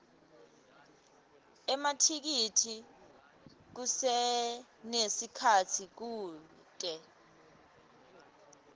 emathikithi kusenesikhatsi kute